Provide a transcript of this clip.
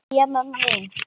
Jæja, mamma mín.